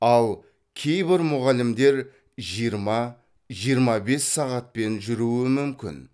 ал кейбір мұғалімдер жиырма жиырма бес сағатпен жүруі мүмкін